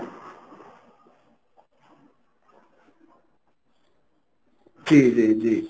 জি জি জি।